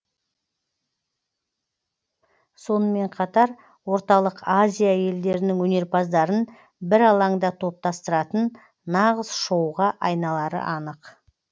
сонымен қатар орталық азия елдерінің өнерпаздарын бір алаңда топтастыратын нағыз шоуға айналары анық